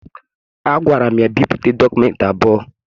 Agwara m ya bipụta dọkụmentị abụọ